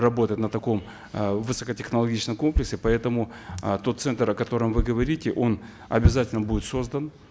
работать на таком э высокотехнологичном комплексе поэтому э тот центр о котором вы говорите он обязательно будет создан